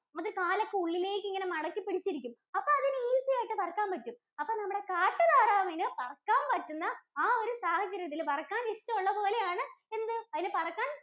അത് കാലൊക്കെ ഉള്ളിലേക്കിങ്ങനെ മടക്കിപ്പിടിച്ചിരിക്കും, അപ്പോ അതിന് easy യായിട്ട് പറക്കാന്‍ പറ്റും. അപ്പോ നമ്മുടെ കാട്ടുതാറാവിന് പറക്കാന്‍ പറ്റുന്ന ആഹ് ഒരു സാഹചര്യത്തില്‍ പറക്കാന്‍ ഇഷ്ടം ഉള്ളപോലെയാണ്, എന്ത്, അതിന് പറക്കാന്‍